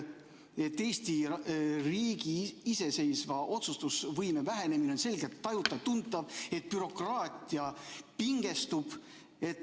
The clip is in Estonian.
Eesti riigi iseseisva otsustamise võime vähenemine on selgelt tajutav, bürokraatia pingestub.